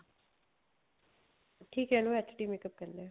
ਠੀਕ ਏ ਇਹਨੂੰ HD makeup ਕਹਿਣੇ ਆ